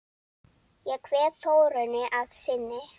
Ég kveð Þórunni að sinni.